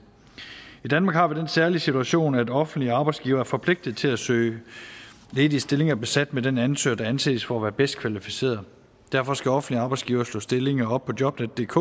i danmark har vi den særlige situation at offentlige arbejdsgivere er forpligtet til at søge ledige stillinger besat med den ansøger der anses for at være bedst kvalificeret derfor skal offentlige arbejdsgivere slå stillinger op på jobnetdk